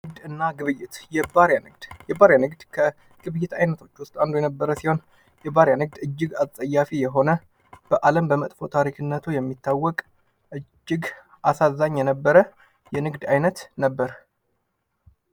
ንግድና እና ግብይት፦ የባሪያ ንግድ፦ የባሪያ ንግድ ከግብይት አይነቶች ውስጥ አንዱ የነበረ ሲሆን የባሪያ ንግድ እጅግ አጸያፊ የሆነ በአለም በመጥፎ ታሪክነቱ የሚታወቅ እጅግ አሳዛኝ የነበረ የንግድ አይነት ነበር።